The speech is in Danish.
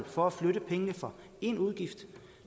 for at flytte pengene fra én udgift